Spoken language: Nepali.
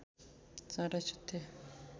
चाँडै सुत्थे